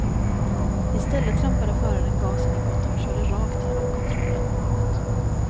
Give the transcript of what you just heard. I stället trampade föraren gasen i botten och körde rakt genom kontrollen. punkt